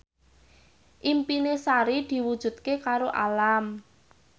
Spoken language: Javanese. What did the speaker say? impine Sari diwujudke karo Alam